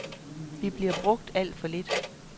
Vi bliver brugt alt for lidt.